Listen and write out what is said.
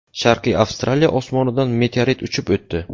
Sharqiy Avstraliya osmonidan meteorit uchib o‘tdi.